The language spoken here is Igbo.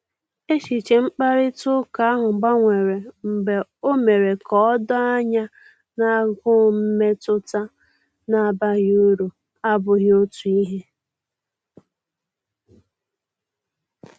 Echiche mkparịta ụka ahụ gbanwere mgbe o mere ka o doo anya na agụụ mmetụta na abaghị uru abughị otu ihe